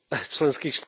členských...